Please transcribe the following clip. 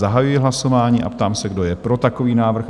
Zahajuji hlasování a ptám se, kdo je pro takový návrh?